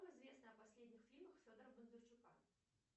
что известно о последних фильмах федора бондарчука